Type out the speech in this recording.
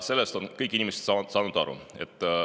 Sellest on kõik inimesed aru saanud.